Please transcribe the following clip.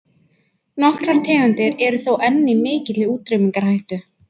Nokkrar tegundir eru þó enn í mikilli útrýmingarhættu.